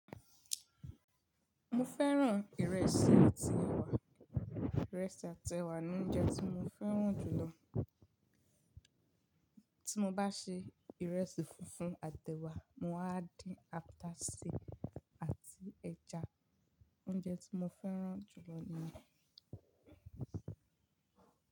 Mo fẹ́ràn ìrẹsì àti ẹwà. Ìrẹsì àti ẹwà ni oúnjẹ tí mo fẹ́ràn jù lọ. Tí mo bá se ìrẹsì funfun àti ẹwà, màá dín ata ṣi àti ẹja. Oúnjẹ tí mo fẹ́ràn jù lọ ni.